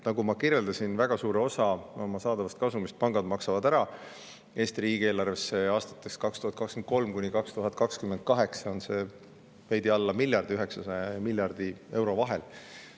Nagu ma kirjeldasin, väga suure osa oma saadavast kasumist maksavad pangad ära Eesti riigieelarvesse: aastatel 2023–2028 on seda veidi alla miljardi, 900 miljoni ja miljardi euro vahel.